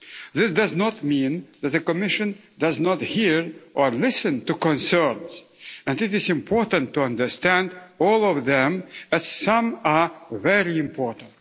This does not mean that the Commission does not hear or listen to concerns and it is important to understand all of them, as some are very important.